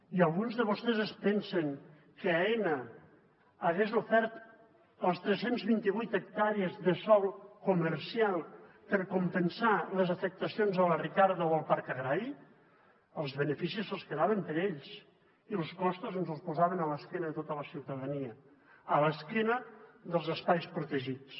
i alguns de vostès es pensa que aena hagués ofert les tres cents i vint vuit hectàrees de sòl comercial per compensar les afectacions a la ricarda o al parc agrari els beneficis se’ls quedaven per a ells i los costos ens els posaven a l’esquena de tota la ciutadania a l’esquena dels espais protegits